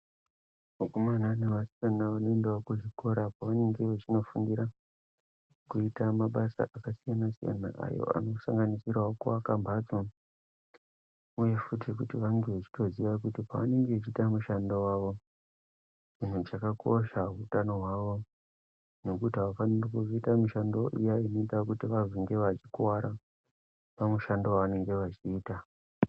Vakomana nevasikana vanoendawo kwavanenge vachinofundira kuita mabasa akasiyana siyana anova anosanganisira kuaka mhatso, uye futi kuti vatoziya kuti pavanenge mishando yavo chinhi chakakosha hutano hwavo nokuti havafaniri kuita mushando wekuti vanenge vechikuvara pamushando wavanenge vachiita.